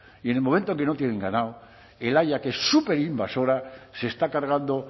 y en el momento que no tienen ganado el haya que es súper invasora se está cargando